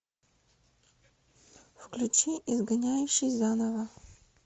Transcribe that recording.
включи изгоняющий заново